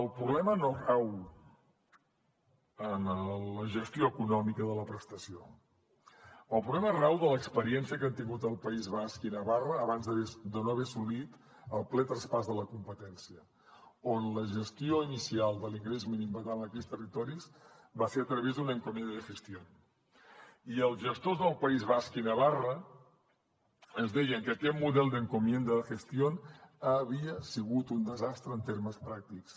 el problema no rau en la gestió econòmica de la prestació el problema rau en l’experiència que han tingut el país basc i navarra abans de no haver assolit el ple traspàs de la competència on la gestió inicial de l’ingrés mínim vital en aquells territoris va ser a través d’una encomienda de gestión i els gestors del país basc i navarra ens deien que aquest model de encomienda de gestión havia sigut un desastre en termes pràctics